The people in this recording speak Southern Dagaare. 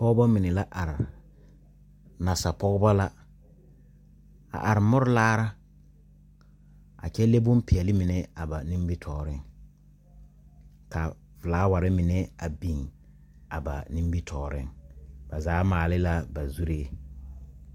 Pɔgɔbɔ mene la are. Nasa pɔgɔbɔ la. A are mur laare a kyɛ le boŋ piɛle mene ba nimitooreŋ. Ka fulaware mene a biŋ a ba nimitooreŋ. Ba zaa maali la ba zurɛ